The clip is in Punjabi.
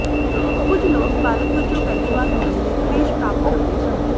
ਕੁਝ ਲੋਕ ਬਾਲਗ਼ ਵੱਜੋਂ ਪਹਿਲੀ ਵਾਰ ਮੁਢਲੇ ਕਲੇਸ਼ ਪ੍ਰਾਪਤ ਕਰਦੇ ਹਨ